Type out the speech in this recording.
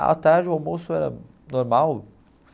À tarde, o almoço era normal.